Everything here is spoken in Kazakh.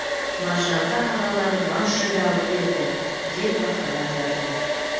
маржанға ағалары бас жүлде алып берді деп мақала жазды